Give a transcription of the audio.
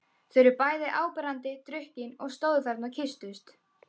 Þau voru bæði áberandi drukkin og stóðu þarna og kysstust.